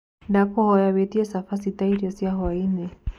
Ndakũhoya wĩĩtĩe chabachĩ taĩrĩo cĩa hwaĩnĩ